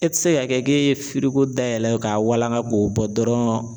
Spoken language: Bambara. E tɛ se ka kɛ k'e ye dayɛlɛ k'a walanga k'o bɔ dɔrɔn